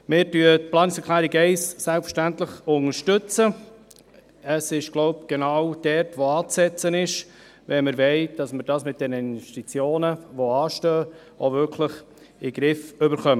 Selbstverständlich unterstützen wir die Planungserklärung 1. Ich denke, es ist genau dort anzusetzen, wenn wir wollen, dass wir das mit diesen Investitionen, die anstehen, auch wirklich in den Griff bekommen.